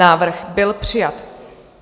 Návrh byl přijat.